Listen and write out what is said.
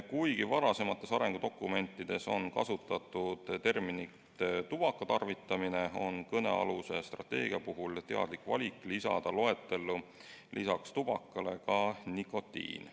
Kuigi varasemates arengudokumentides on kasutatud väljendit "tubaka tarvitamine", on kõnealuse strateegia puhul tehtud teadlik valik lisada loetellu peale tubaka ka nikotiin.